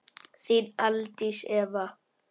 Þín Aldís Eva.